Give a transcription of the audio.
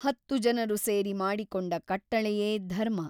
ಹತ್ತು ಜನರು ಸೇರಿ ಮಾಡಿಕೊಂಡ ಕಟ್ಟಳೆಯೇ ಧರ್ಮ.